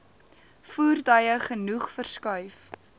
voertuie genoeg verskuif